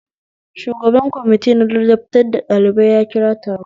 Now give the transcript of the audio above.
Shugaban kwamitina ladabtar da ɗalibai ya kira taro